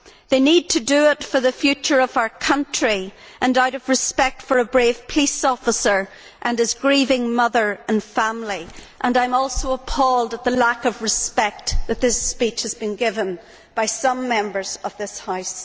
They need to do it for the future of our country and out of respect for a brave police officer and his grieving mother and family. I am also appalled at the lack of respect that this speech has been given by some Members of this House.